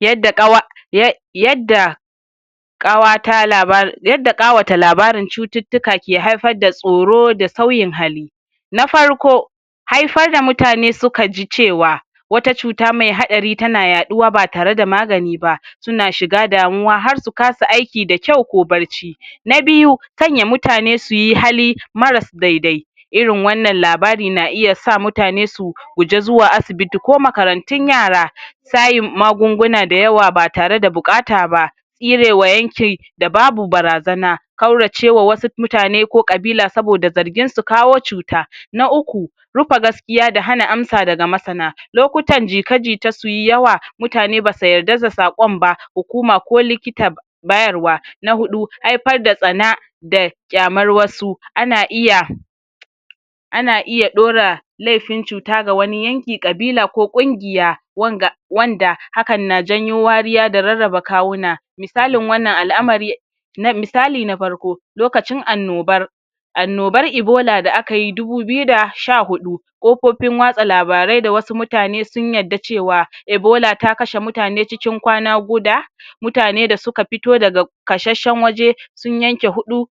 yadda ƙawa ya yadda ƙawata labar um i, yadda ƙawata labarin cututtuka ka haifar da tsoro da sauyin halli na farko ai fa da mutane suka ji cewa wata cuta mai haɗari tana ya ƙuwa batare da magani ba suna shiga damuwa har su kasa aiki da kyau ko bacci na biyu sanya mutane suyi hali maras dai dai irin wanan labari na iya sa mutane su guji zuwa asibiti ko makarantun yaea sayin magunguna da yawa ba tare da ana bukata ba tsre wa yankin da babu barazana kaurace wa wasu mutane ko kabila saboda zargin su kawo cuta .na uku rupa gaskiya da hana amsa daga masana lokutan jika um jita sui yawa mutane basu yarda da saƙon ba hukuma ki likita bayarwa. na huɗu haifar r da tsana da kyamar wasu ana iya ana iya daura lafin cuta ga wani yanki kabla ko kungiya wanga[um] wanda hakan na jawo wariya da rarraba kawuna misaliin wannan al'amari misali na faarko lokacin annobar annobar ibola da anayi dubu biyu da sha huɗu ƙofofin watsa labarai da wasu mutane sun yarda cewa ebola ta kashe mutane cikin kwana guda mutane da suka fito daga kasheshen waje sun yanke huɗu